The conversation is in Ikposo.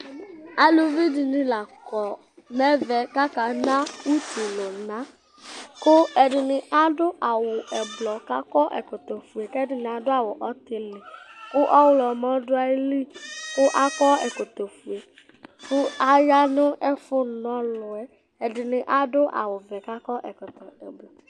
Aluvi dɩnɩ la kɔ nʋ ɛvɛ kʋ aka na utunu lʋnaKʋ ɛdɩnɩ adʋ awʋ ɛblɔ, kʋ akɔ ɛkɔtɔ fue, kʋ ɛdɩ adʋ awʋ ɔtɩlɩ, kʋ ɔɣlɔmɔ dʋ ayili kʋ aya nʋ ɛfʋ na ɔlʋ yɛ